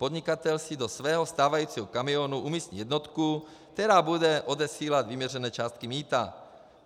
Podnikatel si do svého stávajícího kamionu umístí jednotku, která bude odesílat vyměřené částky mýta.